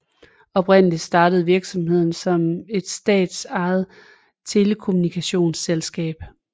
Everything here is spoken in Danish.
Oprindeligt startede virksomheden som et statsejet telekommunikationsselskab